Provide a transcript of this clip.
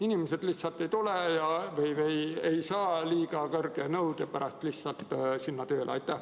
Inimesi lihtsalt ei tule või nad ei saa liiga kõrge nõude pärast sinna tööle minna.